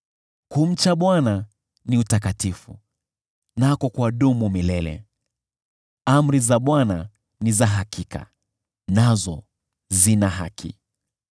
Kumcha Bwana ni utakatifu, nako kwadumu milele. Amri za Bwana ni za hakika, nazo zina haki.